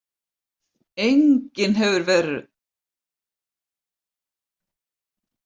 Enginn hefur áður verið eins elskulegur